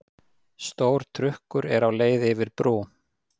Stór trukkur er á leið yfir brú.